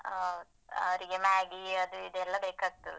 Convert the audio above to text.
ಹ ಅವರಿಗೆ Maggi ಅದು ಇದು ಎಲ್ಲ ಬೇಕಾಗ್ತದೆ.